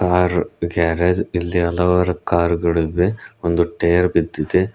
Car garage ಇಲ್ಲಿ ಹಲವಾರು car ಗಳಿವೆ ಒಂದು ಟೈರ್ ಬಿದ್ದಿದೆ.